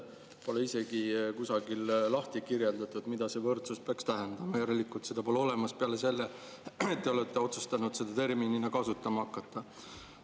Pole isegi kusagil lahti kirjutatud, mida see võrdsus peaks tähendama, järelikult seda pole olemas, peale selle, et te olete otsustanud seda terminina kasutama hakata.